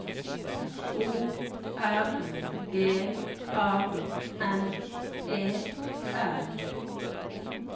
O R G A N E R